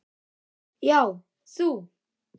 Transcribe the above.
Já, þú.